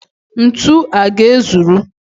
Ntu a ga-ezuru?